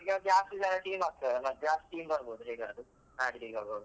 ಅದು ಈಗ ಜಾಸ್ತಿ ಜನ team ಆಗ್ತಾದಲ ಜಾಸ್ತಿ team ಬರ್ಬೋದು ಹೇಗಾದ್ರು ಆಡ್ಲಿಕ್ಕೆ ಆಗುವಾಗ.